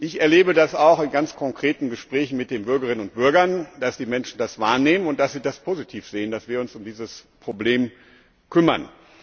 Ich erlebe es auch in ganz konkreten Gesprächen mit den Bürgerinnen und Bürgern, dass die Menschen das wahrnehmen und dass sie das positiv sehen, dass wir uns um dieses Problem kümmern.